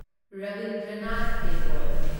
Rabindranath Tagore